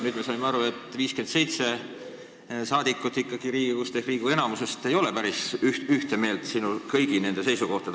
Nüüd me saime aru, et 57 rahvasaadikut ehk Riigikogu enamus ei ole ikkagi päris ühte meelt kõigi nende seisukohtadega.